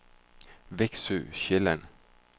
Veksø Sjælland